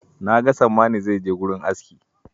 Na ga Sammani zai je wurin aski.